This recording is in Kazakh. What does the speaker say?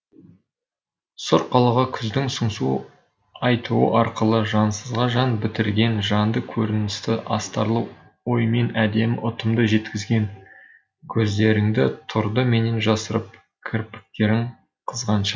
сұр қалаға күздің сыңсу айтуы арқылы жансызға жан бітірген жанды көріністі астарлы оймен әдемі ұтымды жеткізген көздеріңді тұрды менен жасырып кірпіктерің қызғаншақ